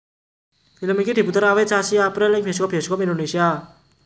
Film iki diputer awit sasi April ing bioskop bioskop Indonesia